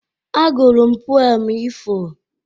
A gụrụ m pụem ifo.